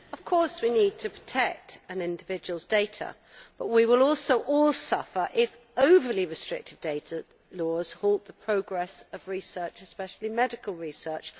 Madam President, of course we need to protect an individual's data, but we will also all suffer if overly restrictive data laws halt the progress of research, especially medical research.